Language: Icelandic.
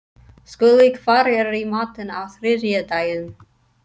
Skúli, hvað er í matinn á þriðjudaginn?